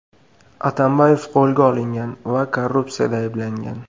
Atambayev qo‘lga olingan va korrupsiyada ayblangan.